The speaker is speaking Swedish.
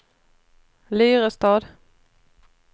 Lyrestad